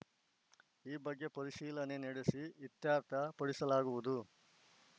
ಈ ಬಗ್ಗೆ ಪರಿಶೀಲನೆ ನಡೆಸಿ ಇತ್ಯರ್ಥ ಪಡಿಸಲಾಗುವುದು